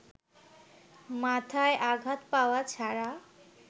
মাথায় আঘাত পাওয়া ছাড়া